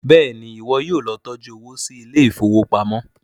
béèni iwọ yóò ló tọjú owo sí Ilé ìfowópamọ́.